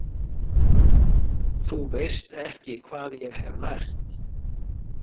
Þú veist ekki hvað ég hef lært.